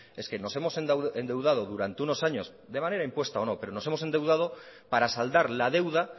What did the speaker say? es que nos hemos endeudado durante unos años de manera impuesta o no pero nos hemos endeudado para saldar la deuda